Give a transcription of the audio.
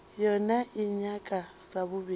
yona e nyaka sa bobedi